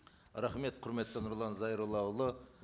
рахмет құрметті нұрлан зайроллаұлы